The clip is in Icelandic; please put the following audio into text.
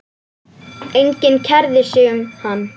Enginn kærði sig um hann.